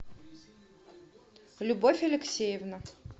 любовь алексеевна